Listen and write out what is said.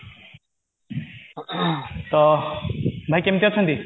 ତ ଭାଇ କେମତି ଅଛନ୍ତି